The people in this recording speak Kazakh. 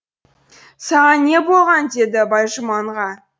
саған не болған деді байжұманға